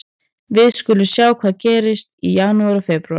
Við skulum sjá hvað gerist í janúar og febrúar.